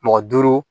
Mɔgɔ duuru